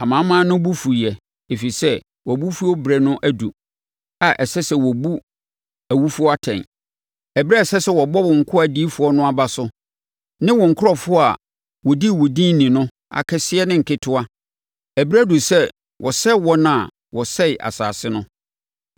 Amanaman no bo fuiɛ, ɛfiri sɛ wʼabofuo berɛ no aduru a ɛsɛ sɛ wɔbu awufoɔ atɛn. Ɛberɛ a ɛsɛ sɛ wobɔ wo nkoa adiyifoɔ no aba so ne wo nkurɔfoɔ a wɔdi wo din ni no, akɛseɛ ne nketewa. Ɛberɛ aduru sɛ wosɛe wɔn a wɔsɛee asase no!”